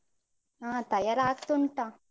ಹಾ ತಯಾರಾಗ್ತುಂಟಾ.